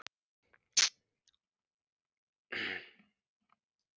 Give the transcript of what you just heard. Ég dey ef þú vingast ekki við mig aftur.